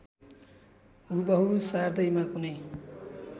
हुबहु सार्दैमा कुनै